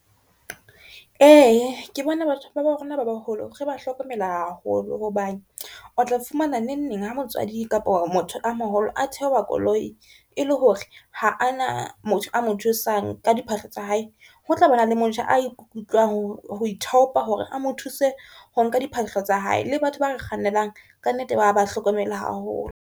E, ke bona batho ba bo rona ba baholo re ba hlokomela haholo hobane o tla fumana neng neng ha motswadi kapo motho a maholo, a theoha koloi e le hore ha a na motho a mo thusang ka diphahlo tsa hae. Ho tlabana le motjha, a ikutlwang ho ithaopa hore a mo thuse ho nka diphahlo tsa hae le batho ba re kgannelang ka nnete ba ba hlokomela haholo.